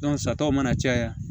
sataw mana caya